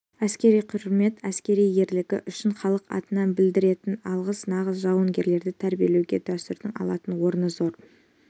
әскери құрмет әскери ерлігі үшін халық атынан білдіретін алғыс нағыз жауынгерлерді тәрбиелеуде дәстүрдің алатын орны зор